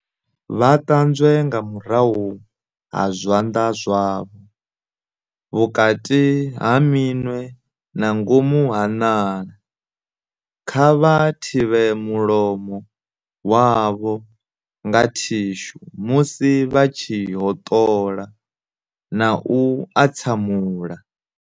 Vha ṱanzwe nga murahu ha zwanḓa zwavho, vhukati ha minwe na ngomu ha ṋala. Kha vha thivhe mulomo wavho nga thishu musi vha tshi hoṱola na u atsamula.